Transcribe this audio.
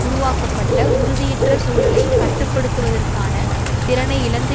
உருவாக்கப்பட்ட உறுதியற்ற சூழலை கட்டு படுத்துவதற்கான திறனை இழந்து